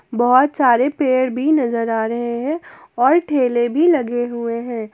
बहोत सारे पेड़ भी नजर आ रहे हैं और ठेले भी लगे हुए हैं।